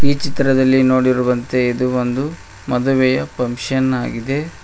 ಈ ಚಿತ್ರದಲ್ಲಿ ನೋಡಿರುವಂತೆ ಇದು ಒಂದು ಮದುವೆಯ ಫಂಕ್ಷನ್ ಆಗಿದೆ.